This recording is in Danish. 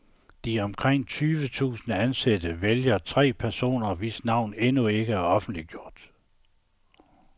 De omkring tyve tusind ansatte vælger tre personer, hvis navne endnu ikke er offentliggjort.